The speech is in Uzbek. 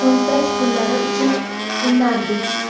cho‘ntak pullari uchun o‘ynardik.